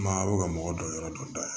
Maa aw bɛ ka mɔgɔ dɔ yɔrɔ dɔ dayɛlɛ